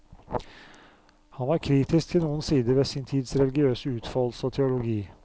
Han var kritisk til noen sider ved sin tids religiøse utfoldelse og teologi.